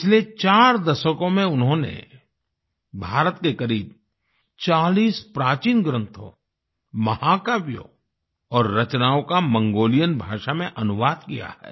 पिछले 4 दशकों में उन्होंने भारत के करीब 40 प्राचीन ग्रंथों महाकाव्यों और रचनाओं का मंगोलियन भाषा में अनुवाद किया है